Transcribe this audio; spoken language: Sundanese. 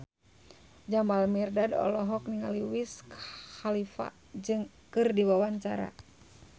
Jamal Mirdad olohok ningali Wiz Khalifa keur diwawancara